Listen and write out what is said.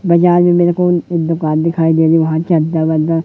बाजार में मेरे को एक दुकान दिखाई दे रही है वहां चद्दर वद्दर--